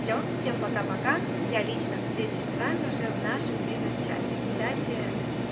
все всем пока-пока я лично встречусь с вами уже в нашем бизнес чате в чате